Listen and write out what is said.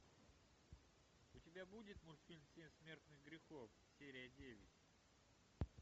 у тебя будет мультфильм семь смертных грехов серия девять